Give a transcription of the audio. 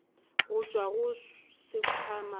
go tšwa go sekhwama sa